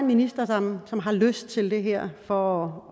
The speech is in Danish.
minister som har lyst til det her for